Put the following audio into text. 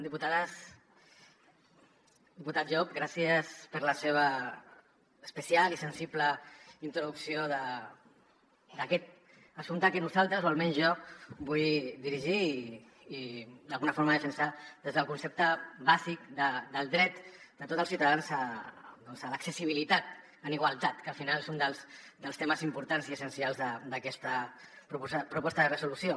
diputat llop gràcies per la seva especial i sensible introducció d’aquest assumpte que nosaltres o almenys jo vull dirigir i d’alguna forma defensar des del concepte bàsic del dret de tots els ciutadans doncs a l’accessibilitat en igualtat que al final és un dels temes importants i essencials d’aquesta proposta de resolució